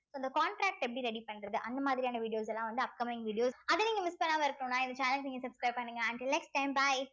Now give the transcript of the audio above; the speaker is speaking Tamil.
so இந்த contract எப்படி ready பண்றது அந்த மாதிரியான videos எல்லாம் வந்து upcoming videos அத நீங்க miss பண்ணாம இருக்கணும்னா இந்த channel நீங்க subscribe பண்ணுங்க until next time bye